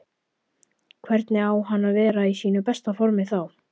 Hvernig á hann að vera í sínu besta formi þá?